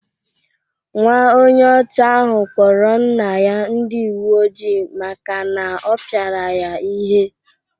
Nwa onye ọcha ahụ kpọrọ nna ya ndi uweojii maka na ọ pịara ya ihe.